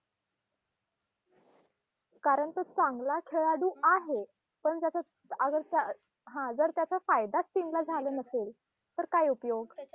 कारण तो चांगला खेळाडू आहे. पण जर आता आता हा त्याचा जर त्याचा फायदाचं team झाला नसेल, तर काय उपयोग?